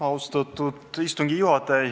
Austatud istungi juhataja!